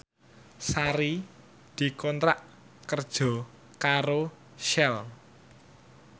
Sari dikontrak kerja karo Shell